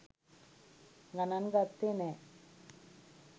ගනන් ගත්තේ නෑ.